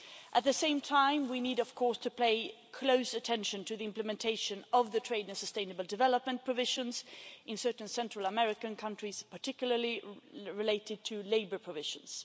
At the same time, we need of course to pay close attention to the implementation of the trade and sustainable development provisions in certain Central American countries, particularly relating to labour provisions.